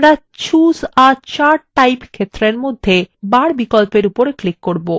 আমরা choose a chart type ক্ষেত্রের মধ্যে বার বিকল্প we উপর click করব